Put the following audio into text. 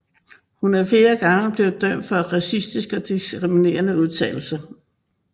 Hun er flere gange blevet dømt for racistiske og diskriminerende udtalelser